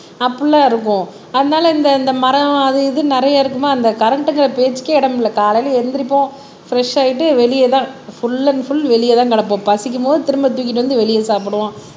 அப்படி எல்லாம் இருப்போம் அதனால இந்த இந்த மரம் அது இதுன்னு நிறைய இருக்குமா அந்த கரண்ட்ங்கிற பேச்சுக்கே இடமில்லை காலையில எந்திரிப்போம் பிரெஷ் ஆயிட்டு வெளியதான் ஃபுல் அண்ட் ஃபுல் வெளியதான் கிடப்போம் பசிக்கும் போது திரும்ப தூக்கிட்டு வந்து வெளிய சாப்பிடுவோம்